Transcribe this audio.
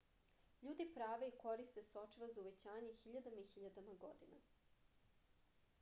ljudi prave i koriste sočiva za uvećanje hiljadama i hiljadama godina